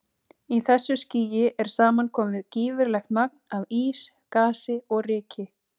Í þessu skýi er saman komið gífurlegt magn af ís, gasi og ryki.